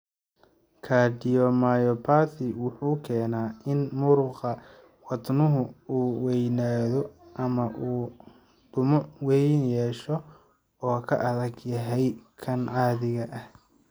Cardiomyopathy wuxuu keenaa in muruqa wadnuhu uu weynaado ama uu dhumuc weyn yeesho oo ka adag yahay kan caadiga ah.